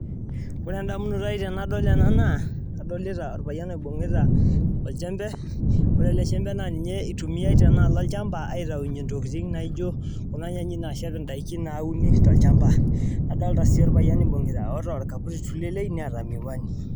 Ore endamunoto ai tenadol ena adolita orpayian oibung'ita oljembe, ore ele jembe naa ninye eitumiai tenaalo olchamba aitau intokiting naijo naashep indaiki nauni tolchamba. Nadolita sii orpayian oibung'ita oota orkaputi tulelei neeta miwani